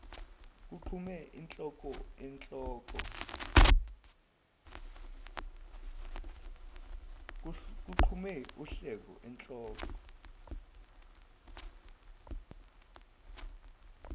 kuqhume uhleko uhleko